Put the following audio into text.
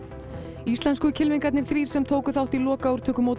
íslensku kylfingarnir þrír sem tóku þátt í